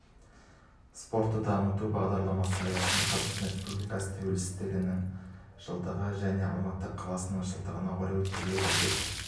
спортты дамыту бағдарламасы аясында қазақстан республикасы тәуелсіздігінің жылдығы және алматы қаласының жылдығына орай өткізіледі деп